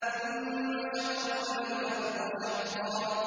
ثُمَّ شَقَقْنَا الْأَرْضَ شَقًّا